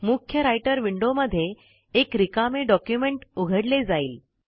मुख्य रायटर विंडोमध्ये एक रिकामे डॉक्युमेंट उघडले जाईल